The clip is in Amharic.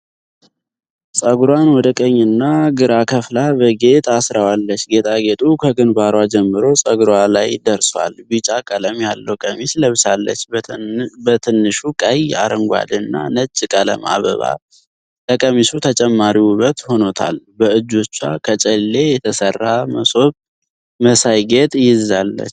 ፀጉሯን ወደ ቀኝና እና ግራ ከፍላ በጌጥ አስራዋለች። ጌጣ ጌጢ ከግንባሯ ጀምሮ ፀጉሯን ላይ ደርሷል። ቢጫ ቀለም ያለዉ ቀሚስ ለብሳለች። በትንሹ ቀይ፣ አረንጓዴ እና ነጭ ቀለም አበባ ለቀሚሱ ተጨማሪ ዉበት ሆኗታል። በእጆቿ ከጨሌ የተሰራ ሞሶብ መሳይ ጌጥ ይዛለች።